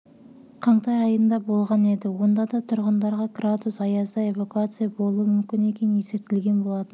қаңтар айында болған еді онда да тұрғындарға градус аязда эвакуация болуы мүмкін екені ескертілген болатын